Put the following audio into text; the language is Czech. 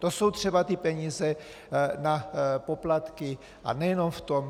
To jsou třeba ty peníze na poplatky, a nejenom v tom.